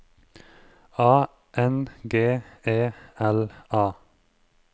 A N G E L A